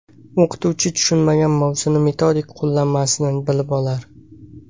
O‘qituvchi tushunmagan mavzuni metodik qo‘llanmasidan bilib olar.